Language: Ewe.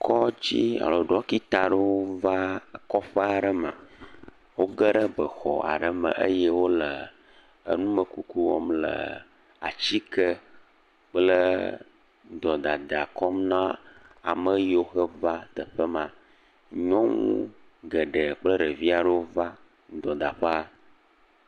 Kɔdzi alo ɖɔkita aɖewo va kɔƒe aɖe me. Wo geɖe bexɔ aɖe me eye w numekuku wɔm le atike kple dɔdada kɔm na ame yiwo ke va teƒe ma. Nyɔnu geɖe kple ɖevi aɖewo va dɔdaƒea.